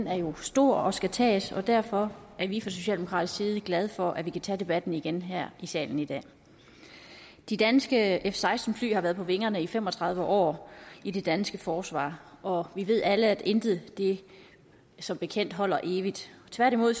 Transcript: er jo stor og skal tages og derfor er vi fra socialdemokratisk side glade for at vi kan tage debatten igen her i salen i dag de danske f seksten fly har været på vingerne i fem og tredive år i det danske forsvar og vi ved alle at intet som bekendt holder evigt tværtimod